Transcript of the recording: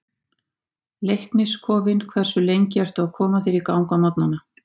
Leiknis kofinn Hversu lengi ertu að koma þér í gang á morgnanna?